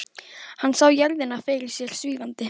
Hann sá jörðina fyrir sér svífandi.